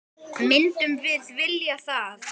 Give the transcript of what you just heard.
Myndum við vilja það?